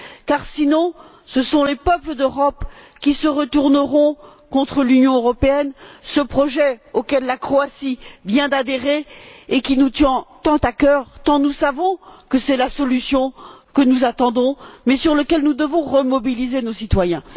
Car, sinon, ce sont les peuples d'Europe qui se retourneront contre l'Union européenne, ce projet auquel la Croatie vient d'adhérer et qui nous tient tant à cœur, tant nous savons que c'est la solution que nous attendons, mais par rapport à laquelle nous devons remobiliser nos citoyens.